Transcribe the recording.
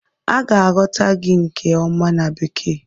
A ga-aghọta gị nke ọma na Bekee.